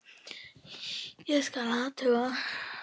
Ég skal athuga það.